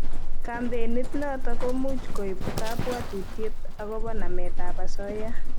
Kampenit notok ko much koip kabuatutiet akobo namet ab asoya